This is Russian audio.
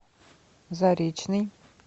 заречный